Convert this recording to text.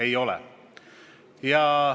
Ei ole.